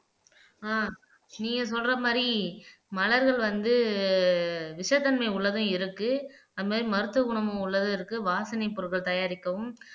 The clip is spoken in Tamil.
ஆஹ் நீங்க சொல்ற மாதிரி மலர்கள் வந்து விஷத்தன்மை உள்ளதும் இருக்கு அது மாதிரி மருத்துவ குணமும் உள்ளதும் இருக்கு வாசனை பொருட்கள் தயாரிக்கவும்